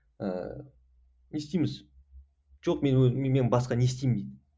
ыыы не істейміз жоқ мен мен басқа не істеймін дейді